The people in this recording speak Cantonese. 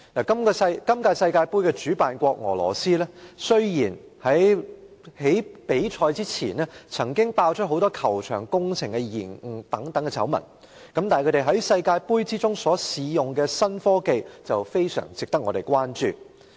本屆世界盃主辦國俄羅斯，雖然在比賽前曾經爆出球場工程延誤等多宗醜聞，但是，他們在世界盃中試用的新科技卻非常值得我們關注。